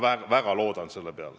Ma väga loodan seda.